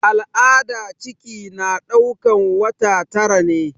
A al'ada ciki na ɗaukan wata tara ne.